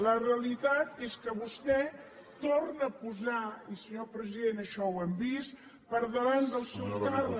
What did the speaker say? la realitat és que vostè torna a posar i senyor president això ho hem vist per davant del seu càrrec